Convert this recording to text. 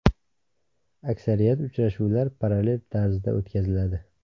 Aksariyat uchrashuvlar parallel tarzda o‘tkaziladi.